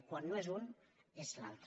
quan no és un és l’altre